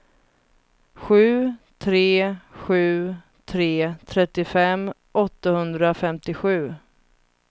sju tre sju tre trettiofem åttahundrafemtiosju